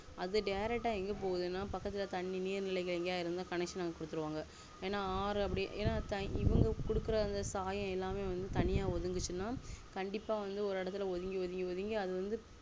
அது direct ஆ எங்க போகுதுன பக்கத்துலதண்ணி நீர் நிலைகள் எங்கேயாதுஇருந்த connection அங்க குடுத்துருவாங்க ஏனாஆறு அபுடினா ஏனா இவங்க குடுக்குற சாயம் எல்லாமே வந்து தனியா ஒதுங்குச்சுனா கண்டிப்பா வந்து ஒரு எடத்துல ஒதுங்கி ஒதுங்கி